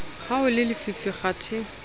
ha ho le lefifi kgathe